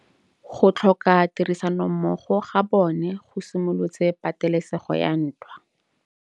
Go tlhoka tirsanommogo ga bone go simolotse patêlêsêgô ya ntwa.